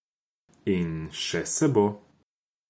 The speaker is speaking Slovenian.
In še se bo.